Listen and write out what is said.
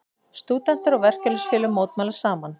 Stúdentar og verkalýðsfélög mótmæla saman